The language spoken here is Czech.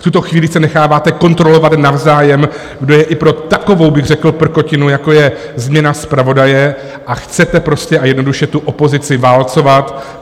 V tuto chvíli se necháváte kontrolovat navzájem, kdo je i pro takovou, řekl bych, prkotinu, jako je změna zpravodaje, a chcete prostě a jednoduše tu opozici válcovat.